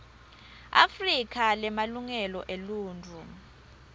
afrika lemalungelo eluntfu